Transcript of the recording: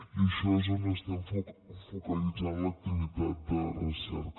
i en això és on estem focalitzant l’activitat de recerca